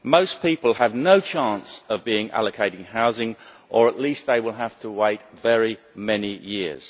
Most people have no chance of being allocated housing or, at least, they will have to wait very many years.